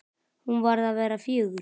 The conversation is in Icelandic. Hún var að verða fjögur.